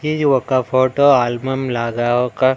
ఇది ఒక photo album లాగా ఒక--